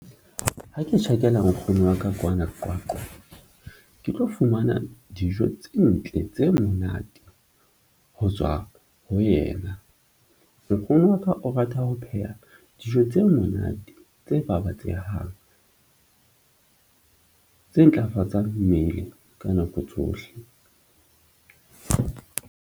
Ha ke tjhakela nkgono wa ka kwana Qwaqwa ke tlo fumana dijo tse ntle tse monate ho tswa ho yena. Nkgono wa ka o rata ho pheha dijo tse monate tse babatsehang, tse ntlafatsang mmele ka nako tsohle.